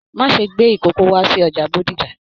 Má ṣe gbé ìkoko wá sí ọjà Bódìjà!